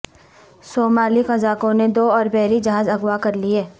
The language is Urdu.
صومالی قزاقوں نے دو اوربحری جہاز اغوا کر لئے